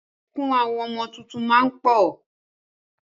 Ẹkún àwọn ọmọ tuntun máa ń pọ̀